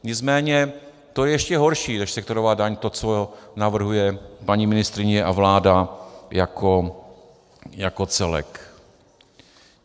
Nicméně to je ještě horší než sektorová daň, to, co navrhují paní ministryně a vláda jako celek.